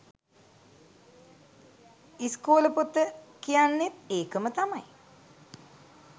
ඉස්කෝල පොත කියන්නෙත් ඒකම තමයි